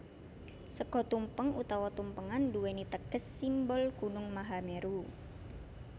Sega tumpeng utawa tumpengan nduwèni teges simbol gunung Mahameru